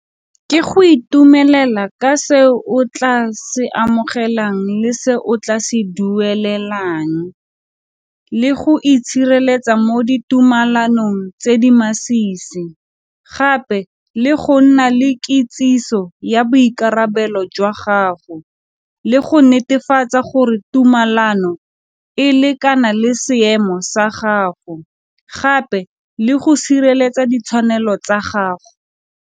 Ke go itumelela ka se o tla se amogelang le se o tla se duelelang, le go itshireletsa mo ditumalanong tse di masisi, gape le go nna le kitsiso ya boikarabelo jwa gago, le go netefatsa gore tumalano e lekana le seemo sa gago, gape le go sireletsa ditshwanelo tsa gago.